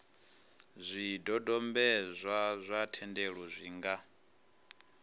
zwidodombedzwa zwa thendelo zwi nga